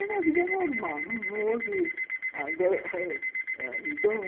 Vivendo uma vida normal, não houve